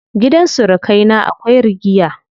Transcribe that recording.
Gidan surukai na akwai rigiya.